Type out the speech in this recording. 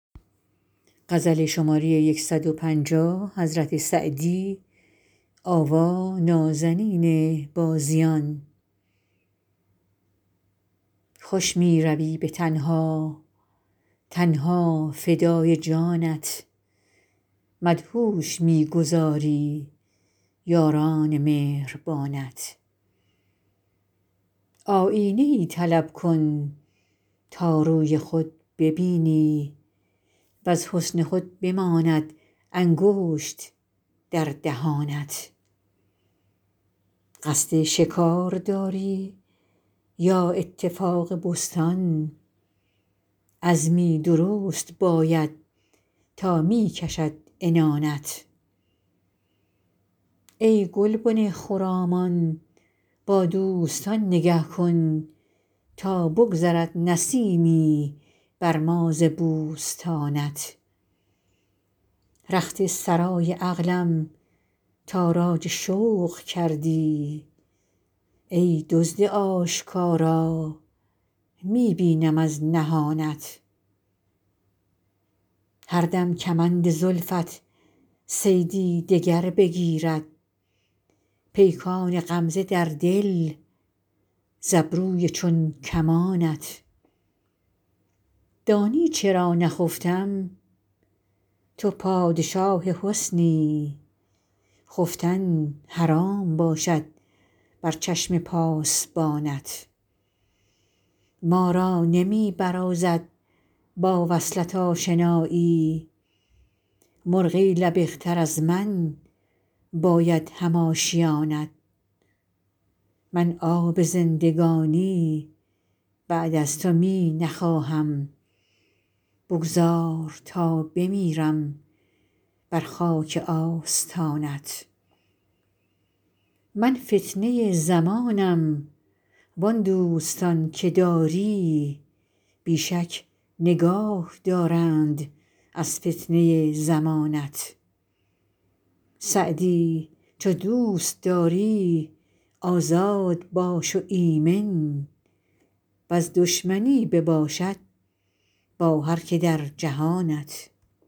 خوش می روی به تنها تن ها فدای جانت مدهوش می گذاری یاران مهربانت آیینه ای طلب کن تا روی خود ببینی وز حسن خود بماند انگشت در دهانت قصد شکار داری یا اتفاق بستان عزمی درست باید تا می کشد عنانت ای گلبن خرامان با دوستان نگه کن تا بگذرد نسیمی بر ما ز بوستانت رخت سرای عقلم تاراج شوق کردی ای دزد آشکارا می بینم از نهانت هر دم کمند زلفت صیدی دگر بگیرد پیکان غمزه در دل ز ابروی چون کمانت دانی چرا نخفتم تو پادشاه حسنی خفتن حرام باشد بر چشم پاسبانت ما را نمی برازد با وصلت آشنایی مرغی لبق تر از من باید هم آشیانت من آب زندگانی بعد از تو می نخواهم بگذار تا بمیرم بر خاک آستانت من فتنه زمانم وان دوستان که داری بی شک نگاه دارند از فتنه زمانت سعدی چو دوست داری آزاد باش و ایمن ور دشمنی بباشد با هر که در جهانت